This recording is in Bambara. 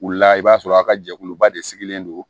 Wula i b'a sɔrɔ a ka jɛkuluba de sigilen don